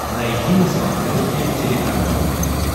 найди на смотрешке телеканал нтв